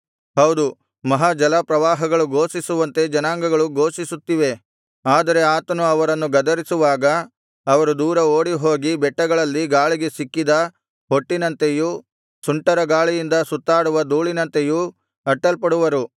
ಹೌದು ಮಹಾ ಜಲಪ್ರವಾಹಗಳು ಘೋಷಿಸುವಂತೆ ಜನಾಂಗಗಳು ಘೋಷಿಸುತ್ತಿವೆ ಆದರೆ ಆತನು ಅವರನ್ನು ಗದರಿಸುವಾಗ ಅವರು ದೂರ ಓಡಿಹೋಗಿ ಬೆಟ್ಟಗಳಲ್ಲಿ ಗಾಳಿಗೆ ಸಿಕ್ಕಿದ ಹೊಟ್ಟಿನಂತೆಯೂ ಸುಂಟರ ಗಾಳಿಯಿಂದ ಸುತ್ತಾಡುವ ಧೂಳಿನಂತೆಯೂ ಅಟ್ಟಲ್ಪಡುವರು